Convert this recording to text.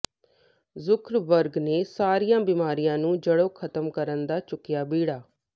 Zuckerberg ਨੇ ਸਾਰੀਆਂ ਬਿਮਾਰੀਆਂ ਨੂੰ ਜੜ੍ਹੋਂ ਖ਼ਤਮ ਕਰਨ ਦਾ ਚੁੱਕਿਆ ਬੀੜਾ